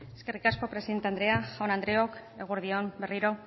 eskerrik asko presidente andrea jaun andreok eguerdi on berriro